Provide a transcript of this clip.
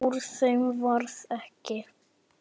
Úr þeim varð ekki.